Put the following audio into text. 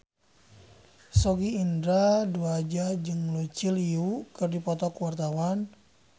Sogi Indra Duaja jeung Lucy Liu keur dipoto ku wartawan